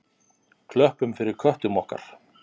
Klöppum fyrir köttum okkar!